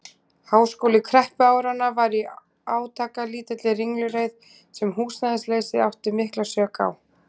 Háskóli kreppuáranna var í átakalítilli ringulreið, sem húsnæðisleysið átti mikla sök á.